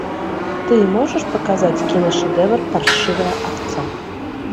ты можешь показать кино шедевр паршивая овца